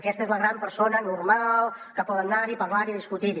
aquesta és la gran persona normal que poden anar hi parlar hi i discutir hi